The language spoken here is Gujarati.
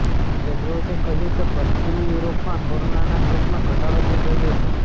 ટેડરોઝે કહ્યું કે પશ્ચિમી યૂરોપમાં કોરોનાના કેસમાં ઘટાડો થઈ રહ્યો છે